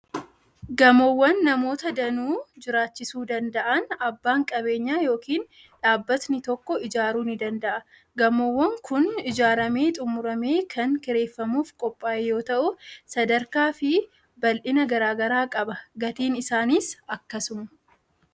Gamoowwan namoota danuu jiraachisuu danda'an abbaan qabeenyaa yookiin dhaabbatni tokko ijaaruu ni danda'a. Gamoon kun ijaaramee xumuramee kan kireeffamuuf qophaa'e yoo ta'u, sadarkaa fi bal'ina garaa garaa qaba. Gatiin isaaniis akkasuma.